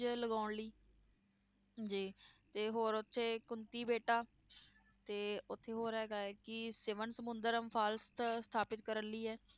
ਲਗਾਉਣ ਲਈ ਜੀ ਤੇ ਹੋਰ ਉੱਥੇ ਕੁੰਤੀ ਬੇਟਾ, ਤੇ ਉੱਥੇ ਹੋਰ ਹੈਗਾ ਹੈ ਕਿ ਸਿਵਨ ਸਮੁੰਦਰਮ ਸਥਾਪਿਤ ਕਰਨ ਲਈ ਹੈ